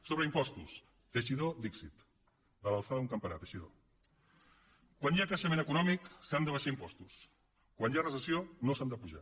sobre impostos teixidó dixit de l’alçada d’un campanar teixidó quan hi ha creixement econòmic s’han d’abaixar impostos quan hi ha recessió no s’han d’apujar